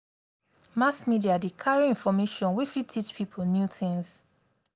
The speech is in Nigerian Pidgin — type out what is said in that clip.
mass media dey carry information wey fit teach pipo new things